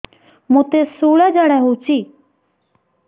ମୋତେ ଶୂଳା ଝାଡ଼ା ହଉଚି